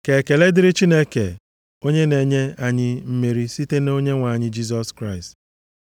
Ka ekele dịrị Chineke onye na-enye anyị mmeri site nʼOnyenwe anyị Jisọs Kraịst.